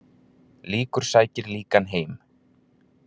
Líkur sækir líkan heim.